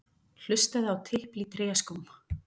Hlustaði á tipl í tréskóm.